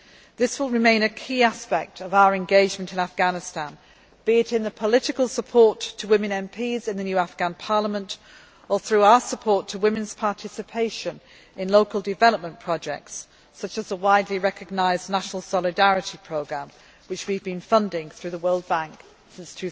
This will remain a key aspect of our engagement in Afghanistan, be it in the political support to women MPs in the new Afghan Parliament or through our support to women's participation in local development projects such as the widely recognised National Solidarity Programme, which we have been funding through the World Bank since